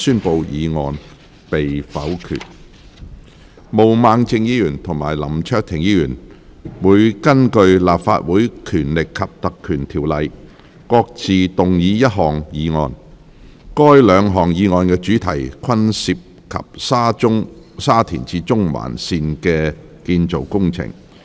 毛孟靜議員及林卓廷議員會根據《立法會條例》各自動議一項議案，該兩項議案的主題均涉及沙田至中環線的建造工程。